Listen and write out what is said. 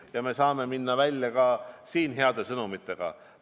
Ehk me saame välja tulla ka heade sõnumitega.